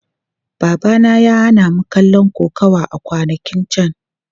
Babana ya hana mu kallon kokawa a kwanakin can.